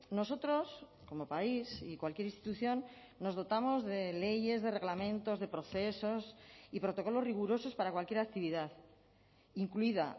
nosotros como país y cualquier institución nos dotamos de leyes de reglamentos de procesos y protocolos rigurosos para cualquier actividad incluida